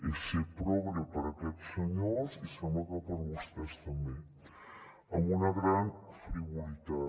és ser progre per aquest senyors i sembla que per vostès també amb una gran frivolitat